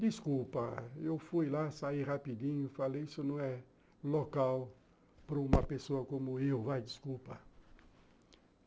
Desculpa, eu fui lá, saí rapidinho, falei, isso não é local para uma pessoa como eu, vai, desculpa.